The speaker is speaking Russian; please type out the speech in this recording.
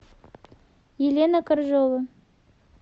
елена коржова